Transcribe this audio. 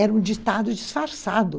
Era um ditado disfarçado.